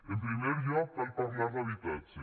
en primer lloc cal parlar d’habitatge